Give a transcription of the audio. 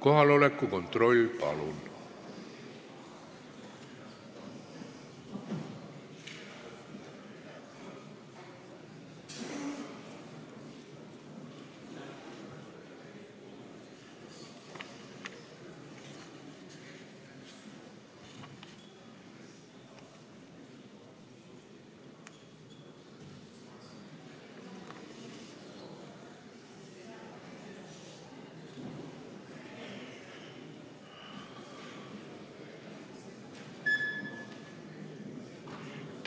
Kohaloleku kontroll